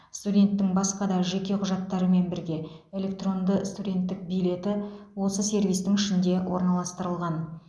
студенттің басқа да жеке құжаттарымен бірге электронды студенттік билеті осы сервистің ішінде орналастырылған